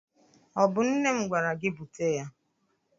Ọ bụ nne m gwara gị bute ya?